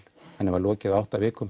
henni var lokið á átta vikum